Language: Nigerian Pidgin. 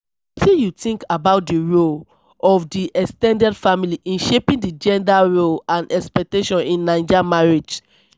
wetin you think about di role of di ex ten ded family in shaping di gender roles and expectations in naija marriage?